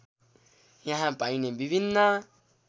यहाँ पाइने विभिन्न